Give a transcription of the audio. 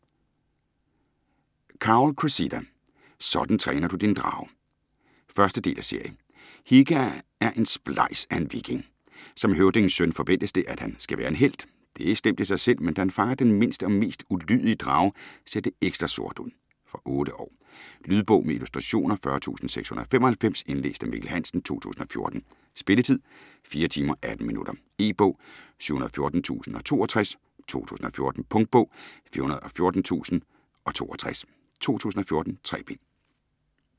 Cowell, Cressida: Sådan træner du din drage 1. del af serie. Hikke er en splejs af en viking. Som høvdingens søn forventes det, at han skal være en helt. Det er slemt i sig selv, men da han fanger den mindste og mest ulydige drage, ser det ekstra sort ud. Fra 8 år. Lydbog med illustrationer 40695 Indlæst af Mikkel Hansen, 2014. Spilletid: 4 timer, 18 minutter. E-bog 714062 2014. Punktbog 414062 2014. 3 bind.